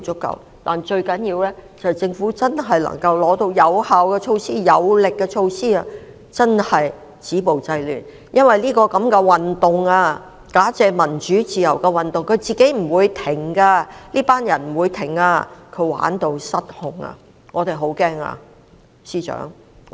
不過，最重要的是政府真的能夠提出有效而有力的措施，真正做到止暴制亂，因為這個假借民主自由的運動，不會自行停止的，這些人不會停止，他們已經玩到失控。